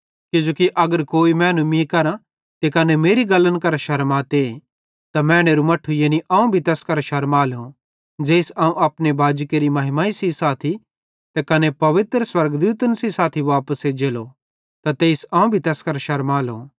किजोकि अगर कोई मैनू मीं करां त कने मेरी गल्लन करां शरमाते त मैनेरू मट्ठू यानी अवं भी तैस केरां शरमालो ज़ेइस अवं अपने बाजी केरि महिमा सेइं साथी त कने पवित्र स्वर्गदूतन सेइं साथी वापस एज्जलो त तेइस अवं तैस केरां भी शरमालो